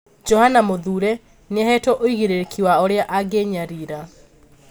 Johana Muthure nĩahetwo ũigĩrĩrĩki wa ũria angĩnyarira'